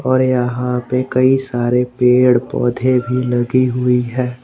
और यहां पे कई सारे पेड़ पौधे भी लगी हुई है।